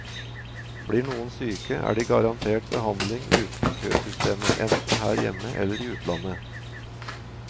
Blir noen syke, er de garantert behandling utenom køsystemet, enten her hjemme eller i utlandet.